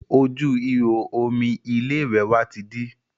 Ojú ìhò omi ilé ìwẹ̀ wa ti dí